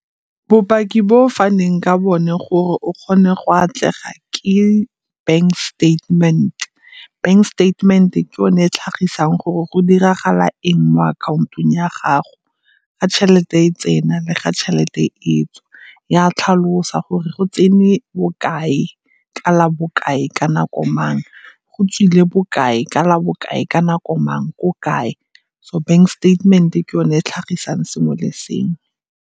Bopaki bo o faneng ka bone gore o kgone go atlega ke bank statement. Bank statement-e ke yone e tlhagisang gore go diragala eng mo akhaontong ya gago. Ga tšhelete e tsena le ga tšhelete e tswa ya tlhalosa gore go tsene bokae, ka la bokae, ka nako mang go tswile bokae, ka la bokae, ka nako mang, ko kae. So bank statement-e ke yone e tlhagisang sengwe le sengwe.